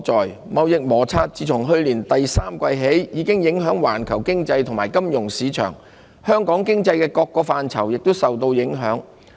兩國的貿易摩擦自去年第三季起已影響環球經濟和金融市場，香港經濟各個範疇也受到影響。